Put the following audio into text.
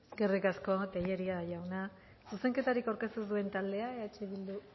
eskerrik asko tellería jauna zuzenketarik aurkeztu ez duen taldea eh bildu